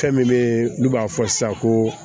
Fɛn min bɛ n'u b'a fɔ sisan ko